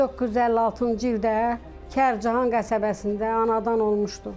1956-cı ildə Kərkican qəsəbəsində anadan olmuşdu.